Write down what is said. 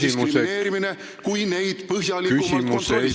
See ei ole diskrimineerimine, kui neid põhjalikumalt kontrollitakse ...